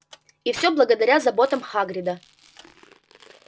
и всё благодаря заботам хагрида